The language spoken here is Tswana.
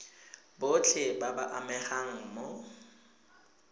botlhe ba ba amegang mo